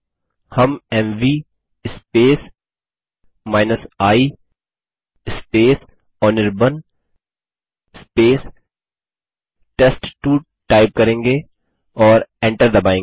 हम MV i Anirban test two type करेंगे और एंटर दबायेंगे